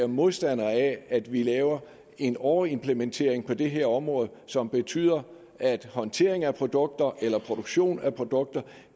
modstandere af at vi laver en overimplementering på det her område som betyder at håndtering af produkter eller produktion af produkter